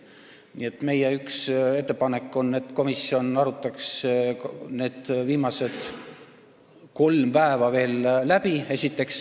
Nii et meie üks ettepanekuid on, et komisjon arutaks esiteks need viimased kolm päeva veel läbi.